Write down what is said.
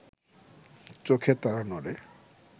চোখের তারা নড়ে